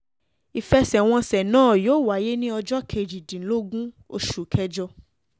ìfẹsẹ̀wọnsẹ̀ náà yóò wáyé ní ọjọ́ kejìdínlógún oṣù kẹjọ